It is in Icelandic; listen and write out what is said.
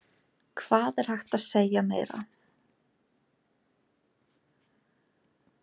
Hvað meira er hægt að segja?